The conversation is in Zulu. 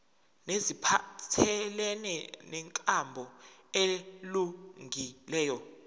neziphathelene nenkambo elungileyo